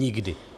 Nikdy.